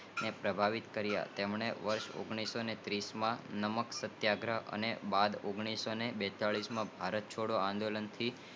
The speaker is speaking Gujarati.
પ્રભાવિત કારિયા તેમને વર્ષ ઓગણીસો તીસ માં નમક સત્યાગ્રહ અને ઓગણીઓસોબેતાલીસ માં ભારત છોડ આંદોલન થી